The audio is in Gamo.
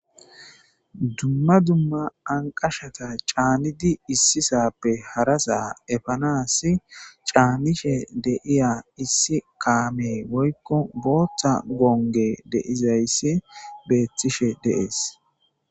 Duma duma anqashata caanidi issisape harasa efanasi caanishe de'iya issi kaame woyko bootha gonge de'izaysi beetishe de'es.